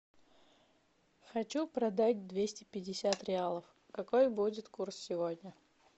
хочу продать двести пятьдесят реалов какой будет курс сегодня